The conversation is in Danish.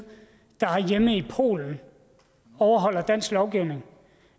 der har hjemme i polen overholder dansk lovgivning